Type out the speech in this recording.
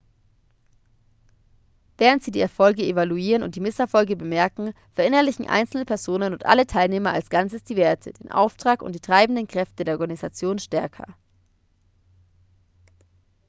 während sie die erfolge evaluieren und die misserfolge bemerken verinnerlichen einzelne personen und alle teilnehmer als ganzes die werte den auftrag und die treibenden kräfte der organisation stärker